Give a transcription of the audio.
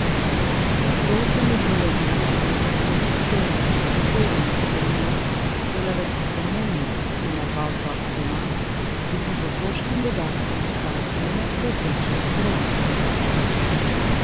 To utemeljuje z neustreznostjo sistema, po katerem, denimo, delavec iz Romunije, ki ima dva otroka doma, dobi z otroškim dodatkom skoraj eno povprečno romunsko plačo.